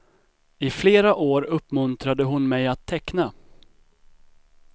I flera år uppmuntrade hon mig att teckna.